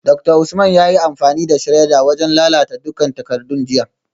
Dr Usman yayi amfani da shredder wajen lalata dukkan takardun jiya